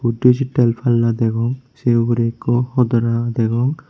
disetal palla degong se ugurey ekko hodora degong.